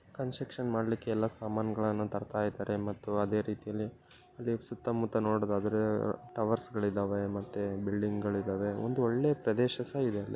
Construction ಮಾಡ್ಲಿಕ್ಕೆ ಎಲ್ಲಾ ಸಾಮಾನ್ಗಳನ್ನ ತರ್ತ ಇದ್ದಾರೆ ಮತ್ತು ಅದೆ ರೀತಿಯಲ್ಲಿ ಅಲ್ಲಿ ಸುತ್ತ ಮುತ್ತ ನೋಡೋದಾದ್ರೆ ಟವರ್ಸಗಳ ಇದಾವೆ ಮತ್ತೆ ಬಿಲ್ಡಿಂಗಗಳ ಇದಾವೆ. ಒಂದು ಒಳ್ಳೆ ಪ್ರದೇಶ ಸಹ ಇದೆ ಅಲ್ಲಿ.